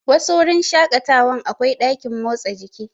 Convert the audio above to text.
Wasu wurin shaƙatawan akwai ɗakin motsa jiki.